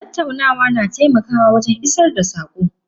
Tattaunawa na taimakawa wajen isar da sako.